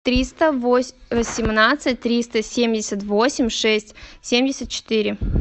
триста восемнадцать триста семьдесят восемь шесть семьдесят четыре